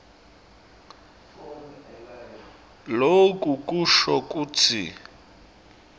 loku kusho kutsi